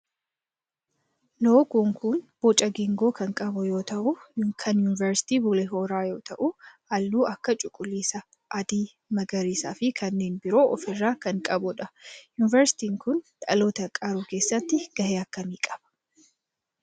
Loogoon kun boca geengoo kan qabu yoo ta'u kan yunivarsiitii Bulee Horaa yoo ta'u halluu akka cuquliisa, adii, magarisaa fi kanneen biroo of irraa kan qabudha. Yunivarsiitiin kun dhaloota qaruu keessatti gahee akkamii qaba?